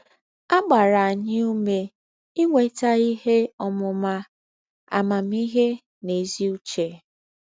À gbàrà ànyị́ ůmè ínwétà íhè ǒmụ́má, àmámị́hè nà ézí̄ ứchè.